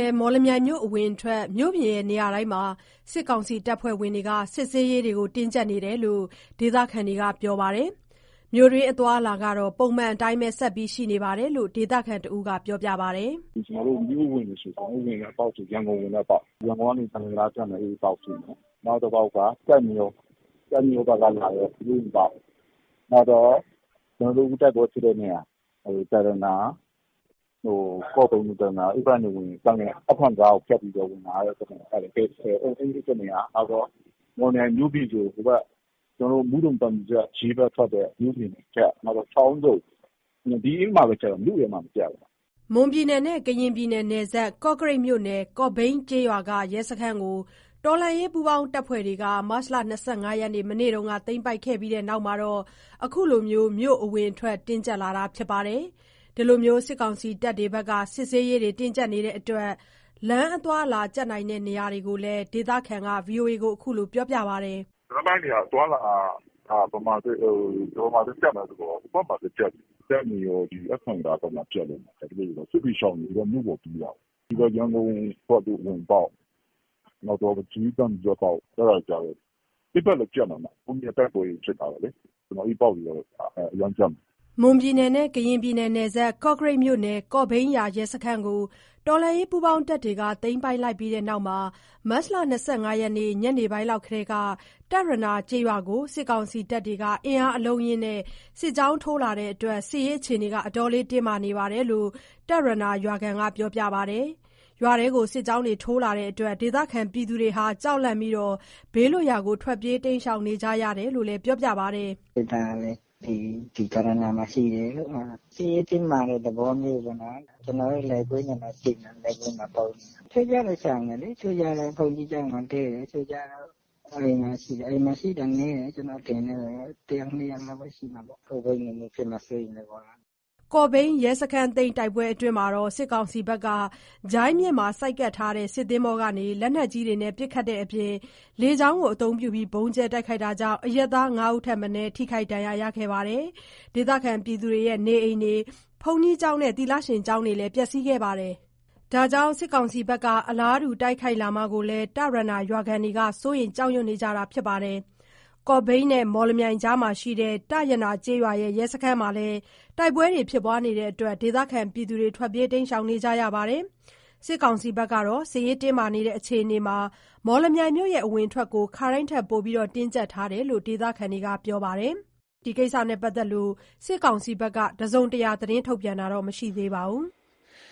ယ်။ မော်လမြိုင်မြို့ အဝင်အထွက် မြို့ပြင်နေရာတိုင်းမှာ စစ်ကောင်စီအဖွဲ့တွေ စစ်ဆေးရေး တင်းကြပ်ထားတယ်လို့ ဒေသခံတဦးက ပြောပါတယ်။ မြို့တွင်းအသွားအလာကတော့ ပုံမှန်အတိုင်းပဲ ဆက်ပြီးရှိနေတယ်လို့လည်း ပြောပါတယ်။ "မြို့အဝင်တွေဆို ရန်ကုန်ဝင်တဲ့အပေါက်၊ ရန်ကုန်ကနေ သံလွင်တံတားဖြတ်မယ်၊ အဲဒီအပေါက်ရှိမယ်။ နောက်တပေါက်က ကျိုက်မရော၊ ကျိုက်မရောဘက်ကလာတဲ့ မြို့အဝင်ပေါက်။ နောက်တော့ အခုတိုက်ပွဲဖြစ်တဲ့နေရာ တရနာ၊ ကော့ဘိန်း-တရနာ အဲဘက်ကနေဝင်ရင် သံလွင် အတ္ထရံတံတားကို ဖြတ်ပြီးဝင်လာရတာ အဲဒီဘက်နေရာရှိမယ်။ မော်လမြိုင်မြို့ပြင်ဆို မုဒုံ-သံဖြူဇရပ်-ရေးဘက်ထွက်တဲ့ မြို့ပြင်ဘက်၊ နောက်တော့ ချောင်းဆုံ။ အဲဒီဘက်တွေမှာပဲ ကြပ်တာ၊ မြို့ထဲမှာတော့ မကြပ်ဘူး။" မွန်-ကရင်နယ်စပ် ကော့ကရိတ်မြို့နယ် ကော့ဘိန်းကျေးရွာက ရဲစခန်းကို တော်လှန်ရေးပူးပေါင်းအဖွဲ့တွေ မတ်လ ၂၅ ရက်၊ မနေ့တုန်းက သိမ်းပိုက်ပြီးနောက်မှာ အခုလို မြို့အဝင်အထွက် တင်းကြပ်လာတာလို့ ပြောပါတယ်။ စစ်ဆေးရေး တင်းကြပ်ထားလို့ လမ်းအသွားအလာ ကြပ်နိုင်တဲ့ နေရာတွေကိုလည်း ဒေသခံက အခုလိုပြောပါတယ်။ "လမ်းပိုင်း အသွားအလာတွေက ဘယ်မှာသွားကြပ်မလဲဆိုတော့ ကျိုက်မရော အတ္ထရံတံတားဘက်မှာ ကြပ်လိမ့်မယ်။ ဘာဖြစ်လို့လဲဆိုတော့ စစ်ဘေးရှောင်တွေက မြို့ပေါ်ကို ပြေးလာကြတာ။ နောက်တခုက ရန်ကုန်အဝင်အထွက်၊ နောက်တော့ ရေး-သံဖြူဇရပ်အပေါက် အဲဒီဘက်လည်း ကြပ်မယ်။ ဟိုးနေ့က တိုက်ပွဲတွေလည်း ဖြစ်ထားတော့ အဲဒီဘက် အပေါက်တွေကတော့ အရမ်းကြပ်မယ်။" မွန်-ကရင်နယ်စပ် ကော့ကရိတ်မြို့နယ် ကော့ဘိန်းရွာ ရဲစခန်းကို တော်လှန်ရေး ပူးပေါင်းတပ်တွေ သိမ်းပိုက်လိုက်ပြီးတဲ့နောက် မတ်လ ၂၅ ရက် ညနေပိုင်းလောက်ကတည်းက တရနာကျေးရွာကို စစ်ကောင်စီတပ်တွေ အင်အားများများနဲ့ စစ်ကြောင်းထိုးလာပြီး စစ်ရေးအခြေအနေ တင်းမာနေတယ်လို့ တရနာရွာခံက ပြောပါတယ်။ ရွာထဲ စစ်ကြောင်းထိုးလာလို့ ဒေသခံတွေ ကြောက်လန့်ပြီး ဘေးလွတ်ရာကို ထွက်ပြေးနေကြတယ်လို့ ပြောပါတယ်။ "စစ်သားလည်း တရနာမှာရှိတယ်။ စစ်ရေးတင်းမာတဲ့ သဘောမျိုးပေါ့နော်။ ကျနော်တို့လည်း လယ်ကွင်းမှာ ပုန်းနေရတာ။ တချို့တွေလည်း ရှောင်ကြတယ်။ တချို့ကျတော့ ဘုန်းကြီးကျောင်းမှာ တည်းတယ်။ အိမ်မှာရှိကြတာ နည်းတယ်။ ကျနော့်အထင်တော့ တယောက်၊ နှစ်ယောက်လောက်ပဲ ရှိမှာပေါ့။ ကော့ဘိန်းလိုမျိုး ဖြစ်မှာ စိုးရိမ်ကြတာပေါ့။" ကော့ဘိန်းရဲစခန်းသိမ်း တိုက်ပွဲအတွင်းမှာ စစ်ကောင်စီဘက်က ဂျိုင်းမြစ်မှာ ဆိုက်ကပ်ထားတဲ့ စစ်သင်္ဘောကနေ လက်နက်ကြီးတွေနဲ့ ပစ်ခတ်တဲ့အပြင် လေကြောင်းအသုံးပြု ဗုံးကြဲတိုက်ခိုက်တာကြောင့် အရပ်သား ၅ ဦးထက်မနည်း ထိခိုက်ဒဏ်ရာရရှိခဲ့ပြီး ဒေသခံနေအိမ်၊ ဘုန်းကြီးကျောင်း၊ သီလရှင်ကျောင်းတွေ ပျက်စီးခဲ့ပါတယ်။ ဒါကြောင့် စစ်ကောင်စီက အလားတူ တိုက်ခိုက်လာမှာကို တရနာရွာခံတွေက စိုးရိမ်ကြောက်ရွံ့ နေကြတာပါ။ ကော့ဘိန်းနဲ့ မော်လမြိုင်ကြားမှာရှိတဲ့ တရနာကျေးရွာ ရဲစခန်းမှာလည်း တိုက်ပွဲတွေဖြစ်နေလို့ ဒေသခံတွေက ထွက်ပြေးနေကြပါတယ်။ စစ်ကောင်စီအဖွဲ့တွေကတော့ စစ်ရေးတင်းမာနေတဲ့ အခြေအနေမှာ မော်လမြိုင်မြို့ အဝင်အထွက်ကိုတော့ ခါတိုင်းထက်ပိုပြီး တင်းကြပ်ထားတယ်လို့ ဒေသခံတွေက ပြောပါတယ်။ မွန်ကရင်နယ်စပ် မော်လမြိုင်နဲ့ ကော့ဘိန်းက သတင်းတွေနဲ့ပတ်သတ်ပြီး စစ်ကောင်စီက တစုံတရာထုတ်ပြန်တာမရှိသေးပါဘူး။